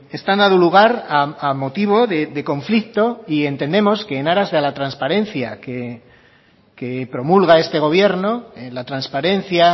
están dado lugar a motivo de conflicto y entendemos que en aras de la transparencia que promulga este gobierno la transparencia